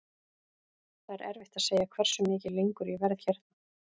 Það er erfitt að segja hversu mikið lengur ég verð hérna.